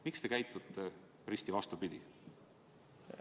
Miks te käitute risti vastupidi?